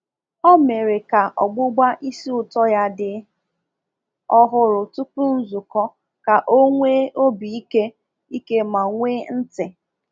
Ọ mere ka ọgbụbá ísì ūtọ ya dị ọhụrụ tupu nzukọ ka o nwee obi ike ike ma nwee ntị.